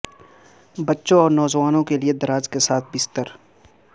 بچوں اور نوجوانوں کے لئے دراز کے ساتھ بستر